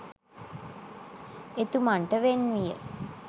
එතුමන්ට වෙන් විය.